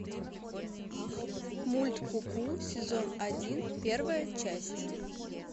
мульт ку ку сезон один первая часть